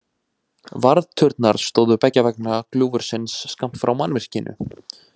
Varðturnar stóðu beggja vegna gljúfursins skammt frá mannvirkinu.